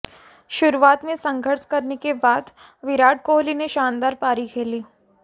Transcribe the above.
शुरुआत में संघर्ष करने के बाद विराट कोहली ने शानदार पारी खेली